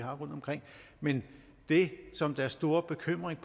har rundtomkring men det som deres store bekymring